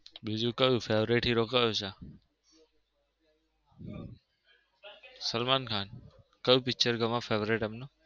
બીજું કયું favourite hero કયો છે? સલમાન ખાન? ક્યુ picture favourite એમ નું?